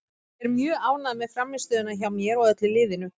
Ég er mjög ánægð með frammistöðuna hjá mér og öllu liðinu.